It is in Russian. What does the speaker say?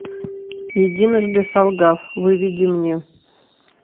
единожды солгав выведи мне